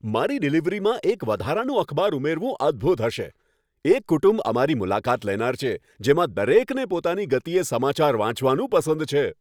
મારી ડિલિવરીમાં એક વધારાનું અખબાર ઉમેરવું અદ્ભુત હશે! એક કુટુંબ અમારી મુલાકાત લેનાર છે, જેમાં દરેકને પોતાની ગતિએ સમાચાર વાંચવાનું પસંદ છે.